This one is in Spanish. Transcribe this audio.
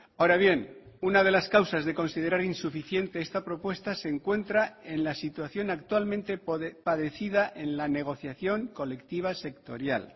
ahora bien una de las causas de considerar insuficiente esta propuesta se encuentra en la situación actualmente padecida en la negociación colectiva sectorial